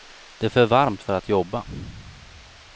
Det är för varmt för att jobba.